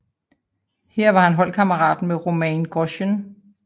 Her var han holdkammerat med Romain Grosjean